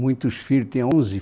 Muitos filhos, tenho onze